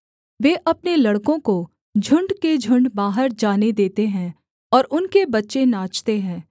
वे अपने लड़कों को झुण्ड के झुण्ड बाहर जाने देते हैं और उनके बच्चे नाचते हैं